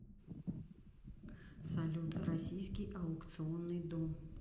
салют российский аукционный дом